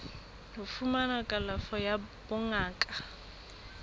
ho fumana kalafo ya bongaka